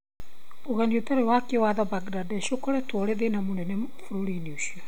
Ũgeni ũtarĩ wa kĩwatho kuuma Bangladesh ũkoretwo ũrĩ thĩna mũnene bũrũri-inĩ ũcio.